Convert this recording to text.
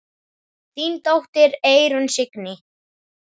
Þín dóttir, Eyrún Signý.